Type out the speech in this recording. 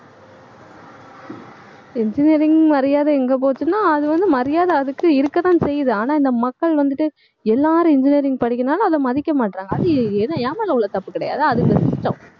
engineering மரியாதை எங்க போச்சுன்னா அது வந்து மரியாதை அதுக்கு இருக்கத்தான் செய்யுது ஆனா இந்த மக்கள் வந்துட்டு எல்லாரும் engineering படிக்கிறதுனால அதை மதிக்க மாட்றாங்க. அது எது என் மேலே உள்ள தப்பு கிடையாது அது இந்த system